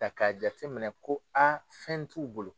Ta k'a jate minɛ ko aa fɛn t'u bolo